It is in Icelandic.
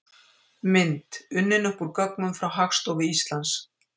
Mynd: Unnin upp úr gögnum frá Hagstofu Íslands.